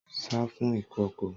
Sá fún ìkòkò!